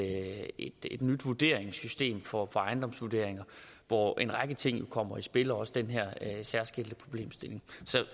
nyt vurderingssystem for ejendomsvurderinger hvor en række ting jo kommer i spil også den her særskilte problemstilling så